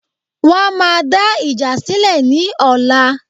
Wọ́n máa dá ìjà sílè ní ọ̀la